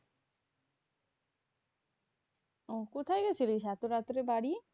ও কোথায় গেছিলিস এত রাত্রে বাড়ি?